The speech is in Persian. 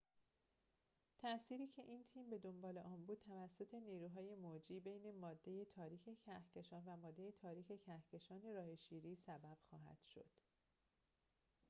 تأثیری که این تیم بدنبال آن بود توسط نیروهای موجی بین ماده تاریک کهکشان و ماده تاریک کهکشان راه شیری سبب خواهد شد